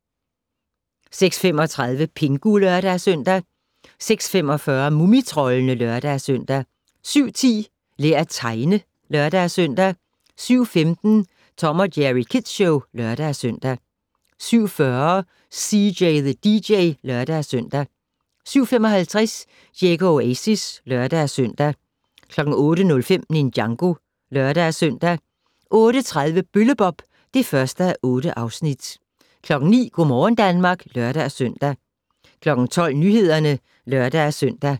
06:35: Pingu (lør-søn) 06:45: Mumitroldene (lør-søn) 07:10: Lær at tegne (lør-søn) 07:15: Tom & Jerry Kids Show (lør-søn) 07:40: CJ the DJ (lør-søn) 07:55: Diego Oasis (lør-søn) 08:05: Ninjago (lør-søn) 08:30: Bølle-Bob (1:8) 09:00: Go' morgen Danmark (lør-søn) 12:00: Nyhederne (lør-søn)